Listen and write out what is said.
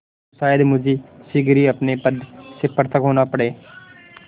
तो शायद मुझे शीघ्र ही अपने पद से पृथक होना पड़े